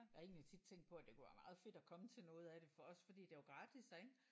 Jeg har egentlig tit tænkt at det kunne være meget fedt at komme til noget af det for også fordi det er jo gratis her ik